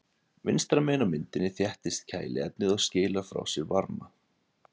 Vinstra megin á myndinni þéttist kæliefnið og skilar frá sér varma.